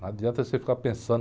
Não adianta você ficar pensando.